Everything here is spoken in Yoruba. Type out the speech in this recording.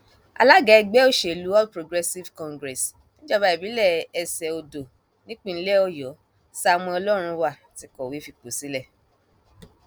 alága ẹgbẹ òsèlú all progressives congress níjọba ìbílẹ ẹsẹ ọdọ nípìnlẹ ọdọ samuel ọlọrunwá ti kọwé fipò sílẹ